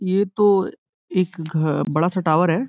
ये तो एक बड़ा सा टावर है।